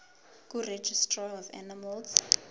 kuregistrar of animals